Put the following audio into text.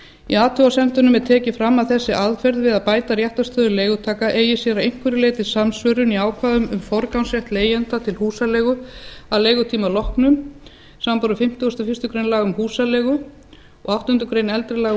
í athugasemdunum var tekið fram að þessi aðferð við að bæta réttarstöðu leigutaka eigi sér að einhverju leyti samsvörun í ákvæðum um forgangsrétt leigjenda til húsaleigu að leigutíma loknum samanborið fimmtugasta og fyrstu grein laga um húsaleigu og áttundu greinar eldri laga